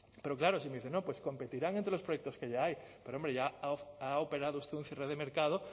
pero claro si me dicen no pues competirán entre los proyectos que ya ahí pero hombre ya ha operado usted un cierre de mercado